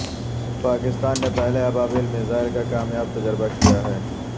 پاکستان نے پہلے ابابیل میزائل کا کامیاب تجربہ کیا ہے